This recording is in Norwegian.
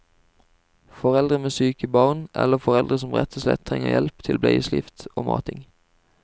Foreldre med syke barn eller foreldre som rett og slett trenger hjelp til bleieskift og mating.